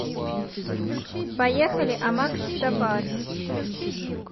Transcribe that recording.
поехали амакс сафар